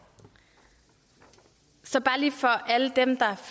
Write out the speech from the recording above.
så